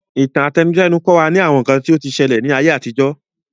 Ìtàn àtẹnudẹ́nu kọ́ wa ní àwọn nǹkan tí o ti ṣẹlẹ̀ ní ayé àtijó